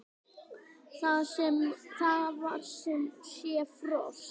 Það var sem sé frost.